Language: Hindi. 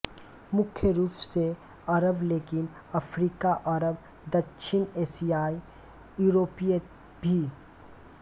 मुख्य रूप से अरब लेकिन अफ्रीकाअरब दक्षिण एशियाई यूरोपीय भी